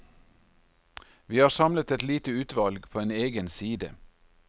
Vi har samlet et lite utvalg på en egen side.